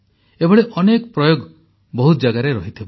ଏଭଳି ଅନେକ ପ୍ରୟୋଗ ବହୁତ ଜାଗାରେ ରହିଥିବ